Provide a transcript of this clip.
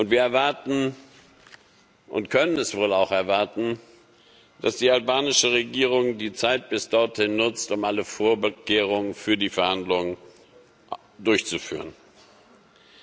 Wir erwarten und können es wohl auch erwarten dass die albanische Regierung die Zeit bis dorthin nutzt, um alle Vorkehrungen für die Verhandlungen zu treffen.